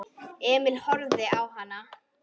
Emil horfði á hann.